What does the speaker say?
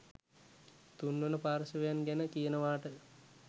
තුන්වන පාර්ශ්වයන් ගැන කියනවාට